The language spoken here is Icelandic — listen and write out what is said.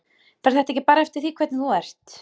Fer þetta ekki bara eftir því hvernig þú ert?